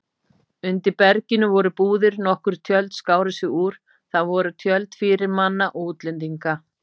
Undir berginu voru búðir, nokkur tjöld skáru sig úr, það voru tjöld fyrirmanna og útlendinga.